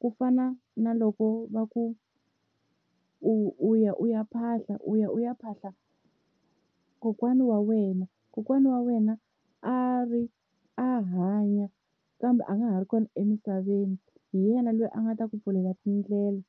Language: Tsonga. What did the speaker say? ku fana na loko va ku u u ya u ya phahla u ya u ya phahla kokwana wa wena, kokwana wa wena a ri a hanya kambe a nga ha ri kona emisaveni hi yena loyi a nga ta ku pfulela tindlela.